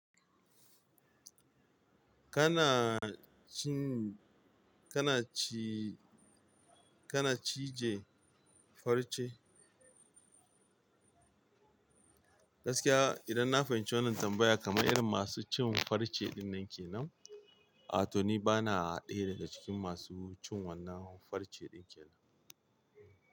Kana cin, kana ci, kana cije farce? Gaskiya idan na fahimci wannan tambaya kaman irin masu cin farce ɗin nan ke nan, a to ni bana ɗaya daga cikin masu cin wannan farce ɗin ke nan.